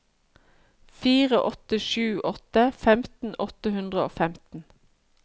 fire åtte sju åtte femten åtte hundre og femten